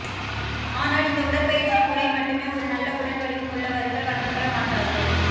ஆனால் இந்த உடற்பயிற்சி முறை மட்டுமே ஒரு நல்ல உடல் வடிவம் உள்ளவர்கள் வழங்கப்பட மாட்டாது